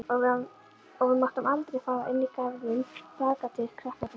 Og við máttum aldrei fara inn í garðinn bakatil, krakkarnir.